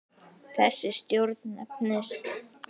Þessi stjórn nefnist